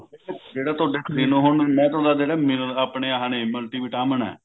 ਜਿਹੜਾ ਤੁਹਾਡੇ ਆਪਣੇ ਆਹ ਨੇ multi vitamin